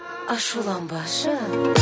ашуланбашы